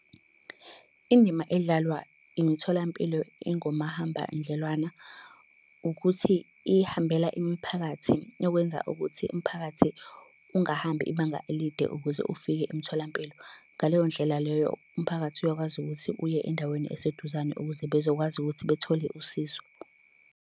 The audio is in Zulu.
Indima edlalwa imitholampilo engomahambanendlwana ukuthi ihambela imiphakathi, okwenza ukuthi umphakathi ungahambi ibanga elide ukuze ufike emtholampilo. Ngaleyo ndlela leyo umphakathi uyakwazi ukuthi uye endaweni eseduzane ukuze bezokwazi ukuthi bethole usizo.